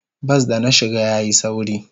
Bas da na shiga yayi sauri.